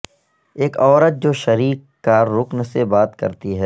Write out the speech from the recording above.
ایک عورت جو شریک کارکن سے بات کرتی ہے